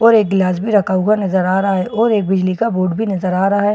और एक ग्लास भी रखा हुआ नज़र आ रहा है और एक बिजली का बोर्ड भी नज़र आ रहा है।